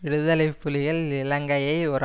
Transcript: விடுதலை புலிகள் இலங்கையை ஒரு